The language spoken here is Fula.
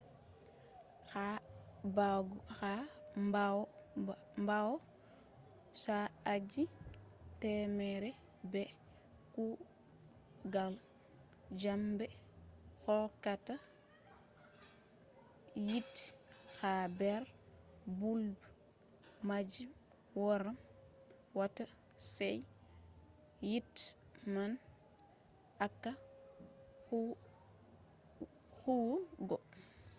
ha ɓawo sa'aji temere be kugal njamɗe hokkata yite ha nder bulb majum waran wata sey yite man acca huwugo